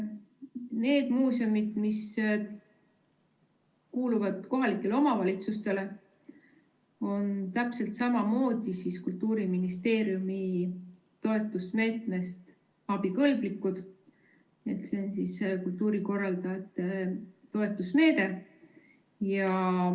Need muuseumid, mis kuuluvad kohalikele omavalitsustele, on täpselt samamoodi Kultuuriministeeriumi toetusmeetmest abikõlblikud, see on kultuurikorraldajate toetusmeede.